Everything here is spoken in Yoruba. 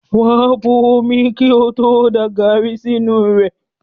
Wà á bo omi kí ó tó da gàrí sínú rẹ̀.